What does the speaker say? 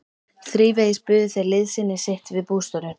Þrívegis buðu þeir liðsinni sitt við bústörfin.